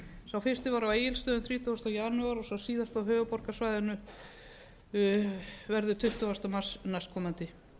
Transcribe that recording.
sá fyrsti var á egilsstöðum þrítugasta janúar og sá síðasti verður á höfuðborgarsvæðinu tuttugasta mars næstkomandi